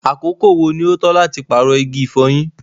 àkókò wo ní o tọ́ láti paarọ igi ifọ̀yín?